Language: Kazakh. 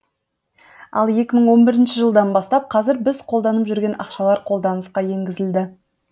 ал екі мың он бірінші жылдан бастап қазір біз қолданып жүрген ақшалар қолданысқа енгізілді